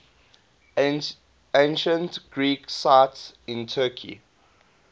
ancient greek sites in turkey